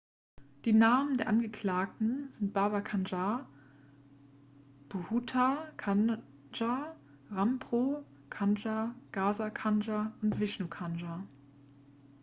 die namen der angeklagten sind baba kanjar bhutha kanja rampro kanjar gaza kanjar und vishnu kanjar